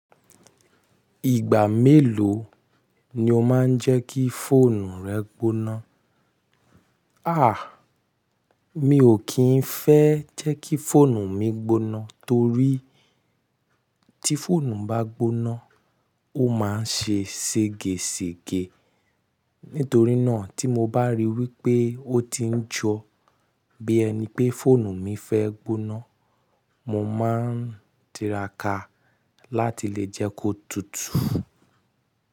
Ìgbà mélòó ni o máa ń jẹ́ kí fóònù rẹ gboná? À, mi ò kí ń fẹ́ jẹ́ kí fóònù mi gboná torí tí fóònù bá gboná, ó máa ń ṣe sègesège. Nítorí náà tí mo bá ríi wípé ó ti ń jo bí ẹni pé fóònù mi fẹ́ gboná, mo máa ń tiraka láti lè jẹ́ kó tutù.